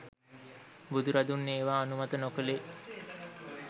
බුදුරදුන් ඒවා අනුමත නොකළේ